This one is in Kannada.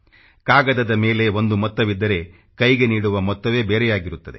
ಕಾಗದದ ಮೇಲೆ ಒಂದು ಮೊತ್ತವಿದ್ದರೆ ಕೈಗೆ ನೀಡುವ ಮೊತ್ತವೇ ಬೇರೆಯಾಗಿರುತ್ತದೆ